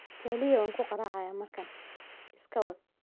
Kaliya waan ku garaacayaa markan, iska wad.